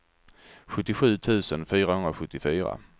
sjuttiosju tusen fyrahundrasjuttiofyra